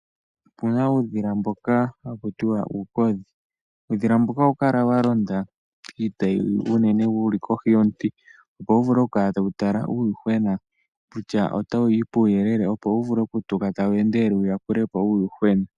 Puna uudhila mbono haku tiwa uukodhi, uudhila mbuka oha wu kala wa londa iita yi unene wu li kohi yomiti, opo wu vule oku kala ta wu tala uuyuhwena, kutya ota wu yi puuyelele, opo wu vule oku tuka ta wu endelele wu yakulepo uuyuhwena.